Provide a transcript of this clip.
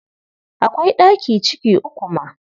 Akwai ɗaki ciki uku ma.